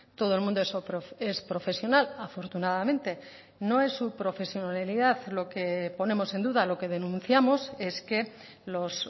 todo el mundo es profesional afortunadamente no es su profesionalidad lo que ponemos en duda lo que denunciamos es que los